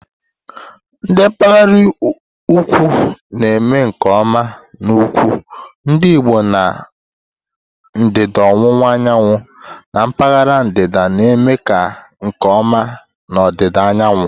ndi mpaghara ukwu na-eme nke ọma na ukwu, ndi Igbo na ndịda ọwụwa anyanwụ, na mpaghara ndịda na eme kwa nke oma na ọdịda anyanwụ.